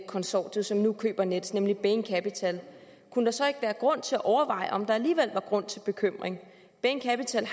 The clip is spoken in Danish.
i konsortiet som nu køber nets nemlig bain capital kunne der så ikke være grund til at overveje om der alligevel var grund til bekymring bain capital